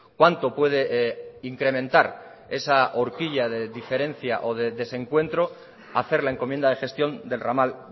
cuánto puede incrementar esa orquilla de diferencia o de desencuentro hacer la encomienda de gestión del ramal